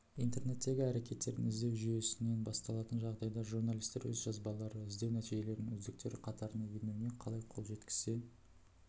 интернеттегі әрекеттердің іздеу жүйесінен басталатын жағдайда журналистер өз жазбалары іздеу нәтижелерінің үздіктері қатарына енуіне қалай қол жеткізе